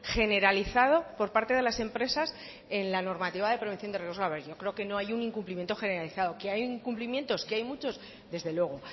generalizado por parte de las empresas en la normativa de prevención de riesgos laborales yo creo que no hay un incumplimiento generalizado que hay incumplimientos que hay muchos desde luego